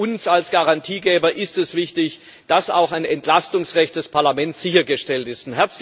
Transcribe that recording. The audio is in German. Für uns als Garantiegeber ist es wichtig, dass auch ein Entlastungsrecht des Parlaments sichergestellt ist.